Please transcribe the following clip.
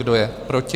Kdo je proti?